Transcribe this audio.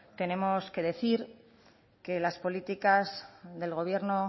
tenemos que decir que las políticas del gobierno